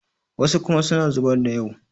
wasu kuma suna zubar da yau